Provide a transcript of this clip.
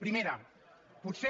primera potser